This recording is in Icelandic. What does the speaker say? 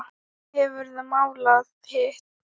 Hefurðu málað hitt?